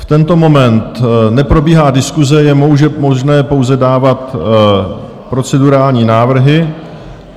V tento moment neprobíhá diskuse, je možné pouze dávat procedurální návrhy.